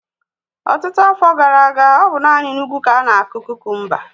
Ọtụtụ afọ gara aga, ọ bụ naanị n'ugwu ka ánà-akụ kukumba